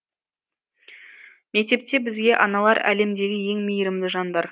мектепте бізге аналар әлемдегі ең мейірімді жандар